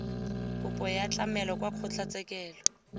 kopo ya tlamelo kwa kgotlatshekelong